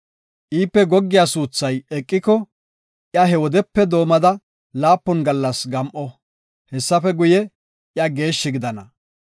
“Iipe goggiya suuthay eqiko, iya he wodepe doomada laapun gallas gam7o; hessafe guye, iya geeshshi gidana.